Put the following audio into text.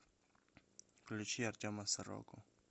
включи артема сороку